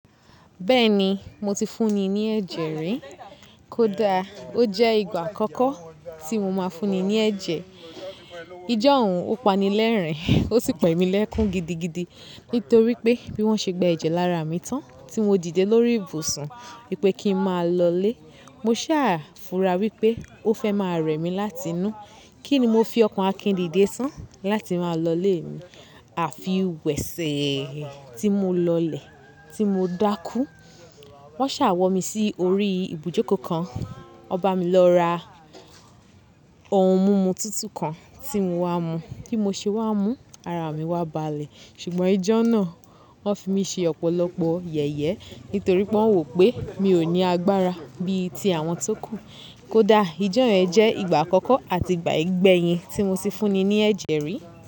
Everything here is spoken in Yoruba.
Bẹ́ẹ̀ni, mo ti fún ni ní ẹ̀jẹ̀ rí. Kódà ó jẹ́ ìgbà àkọ́kọ́ tí mo máa fún ni ní ẹ̀jẹ̀. Ijọ́hun ó pani lẹ́rìn-ín, ó sì pa emí lẹ́kún gidigidi. Nítorí pé bí wọ́n ṣe gba ẹ̀jẹ̀ lára mi tán tí mo dìde lórí ibùsùn wípé kí n máa lọlé, mo sá fura wípé ó fẹ́ máa rẹ̀ mí láti inú. Kí ni mo fi ọkàn Akin dìde tán láti máa lọlé mi, àfi wẹ̀sẹ̀ tí mo lọlẹ̀ tí mo dákú. Wọn sá wọ mi sí orí ibùjókòó kan, won ba mi lọ ra ohun mímu tútù kan tí mo wáa mú. Bí mo ṣe wá mú, ara mi wá balẹ̀. Ṣùgbọ́n ijọ́ náà, wọ́n fi mí ṣe ọ̀pọ̀lọpọ̀ yẹ̀yẹ́ nítorí pé wọ́n wò pé mi ò ní agbára bí i ti àwọn tó kù. Kódà ijọ́ yẹn jẹ́ ìgbà àkọ́kọ́ àti ìgbà ìgbẹ́yìn tí mo ti fún ni ní ẹ̀jẹ̀ rí.